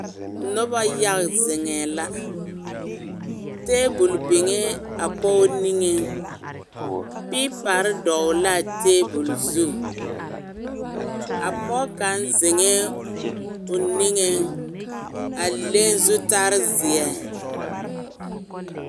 Noba yaga zeŋɛ la, tabol biŋ a pɔgɔ niŋe karetarre dɔgeli la atabol zu a pɔge kaŋ zeŋɛ o niŋɛ a leŋ zutarre zeɛ .